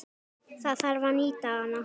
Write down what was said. Það þarf að nýta hana.